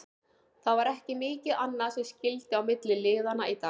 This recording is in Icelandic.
Það var ekki mikið annað sem skyldi á milli liðanna í dag.